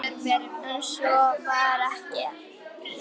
En svo var ekki gert.